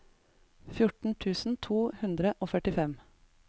fjorten tusen to hundre og førtifem